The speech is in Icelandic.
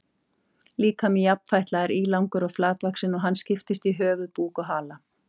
Líkami jafnfætla er ílangur og flatvaxinn og hann skiptist í höfuð, búk og hala.